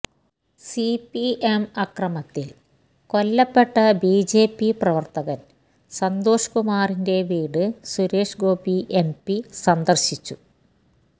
CPM അക്രമത്തില് കൊല്ലപ്പെട്ട BJP പ്രവര്ത്തകന് സന്തോഷ് കുമാറിന്റെ വീട് സുരേഷ് ഗോപി എംപി സന്ദര്ശിച്ചു